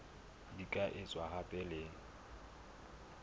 di ka etswa hape le